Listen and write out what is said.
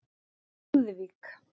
Lúðvík